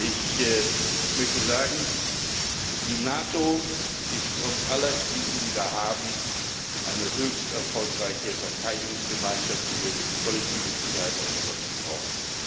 Ich möchte sagen Die NATO ist trotz aller Krisen, die wir haben, eine höchst erfolgreiche Verteidigungsgemeinschaft, die wir für die kollektive Sicherheit Europas brauchen.